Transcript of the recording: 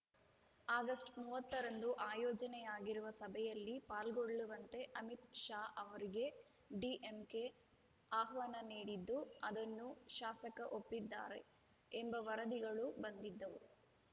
August ಮೂವತ್ತ ರಂದು ಆಯೋಜನೆಯಾಗಿರುವ ಸಭೆಯಲ್ಲಿ ಪಾಲ್ಗೊಳ್ಳುವಂತೆ ಅಮಿತ್‌ ಶಾ ಅವರಿಗೆ ಡಿಎಂಕೆ ಆಹ್ವಾನ ನೀಡಿದ್ದು ಅದನ್ನು ಶಾಸಕ ಒಪ್ಪಿದ್ದಾರೆ ಎಂಬ ವರದಿಗಳು ಬಂದಿದ್ದವು